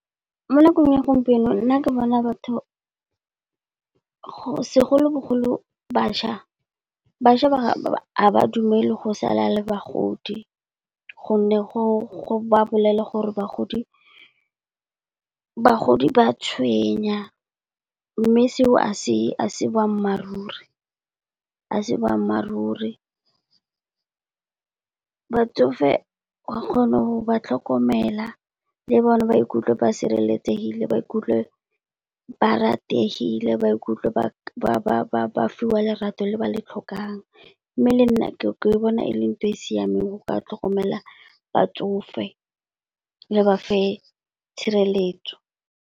Mo nakong ya gompieno nna ke bona batho, go segolobogolo bašwa, bašwa ba ga ba dumele go sala le bagodi, gonne go ba bolelela gore bagodi ba tshwenya. Mme seo ga se boammaaruri, a se boammaaruri. Batsofe wa kgona go ba tlhokomela le bone ba ikutlwe ba sireletsegile, ba ikutlwe ba rategile, ba ikutlwe ba fiwa lerato le ba le tlhokang. Mme le nna ke bona e le ntho e e siameng go ka tlhokomela batsofe le ba fa tshireletso.